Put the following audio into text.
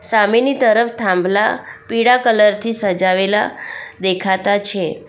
સામેની તરફ થાંભલા પીળા કલર થી સજાવેલા દેખાતા છે.